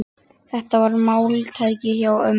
Þetta var máltæki hjá ömmu.